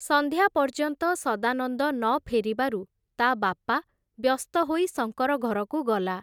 ସନ୍ଧ୍ୟାପର୍ଯ୍ୟନ୍ତ ସଦାନନ୍ଦ ନ ଫେରିବାରୁ, ତା ବାପା ବ୍ୟସ୍ତ ହୋଇ ଶଙ୍କର ଘରକୁ ଗଲା ।